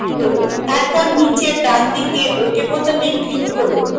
তারপর নীচের ডানদিকে ok বোতামে click করুন